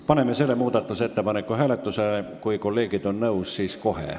Paneme selle ettepaneku hääletusele.